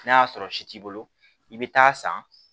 N'a y'a sɔrɔ si t'i bolo i bɛ taa san